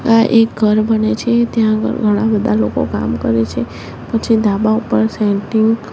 આ એક ઘર બને છે ત્યાં આગળ ઘણા બધા લોકો કામ કરે છે પછી ધાબા ઉપર સેન્ટીંગ --